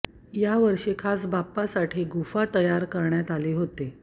या वर्षी खास बाप्पासाठी गुफा तयार करण्यात आली होती